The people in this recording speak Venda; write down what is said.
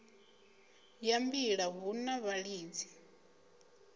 ya mbila hu na vhalidzi